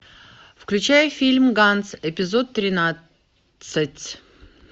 включай фильм ганц эпизод тринадцать